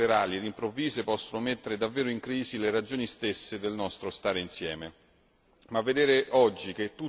e dove scelte unilaterali ed improvvise possono mettere davvero in crisi le ragioni stesse del nostro stare insieme.